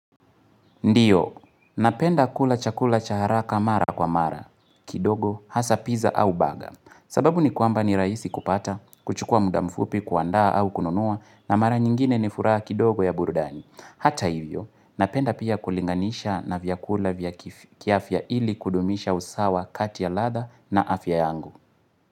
Ndiyo, napenda kula chakula cha haraka mara kwa mara, kidogo, hasa piza au baga, sababu ni kwamba ni rahisi kupata, kuchukua muda mfupi kuandaa au kununua, na mara nyingine ni furaha kidogo ya burudani. Hata hivyo, napenda pia kulinganisha na vyakula vya kiafya ili kudumisha usawa kati ya ladha na afya yangu.